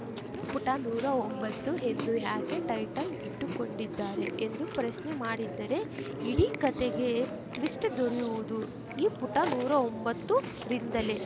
ಇನ್ನು ಪುಟ ನೂರಾ ಒಂಬತ್ತು ಎಂದು ಯಾಕೆ ಟೈಟಲ್‌ ಇಟ್ಟುಕೊಂಡಿದ್ದಾರೆ ಎಂದು ಪ್ರಶ್ನೆ ಮಾಡಿದ್ದರೆ ಇಡೀ ಕತೆಗೆ ಟ್ವಿಸ್ಟ್‌ ದೊರೆಯುವುದು ಈ ಪುಟ ಒಂಬತ್ತುರಿಂದಲೇ